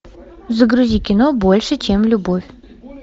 загрузи кино больше чем любовь